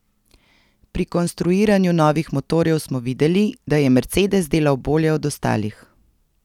Pri konstruiranju novih motorjev smo videli, da je Mercedes delal bolje od ostalih.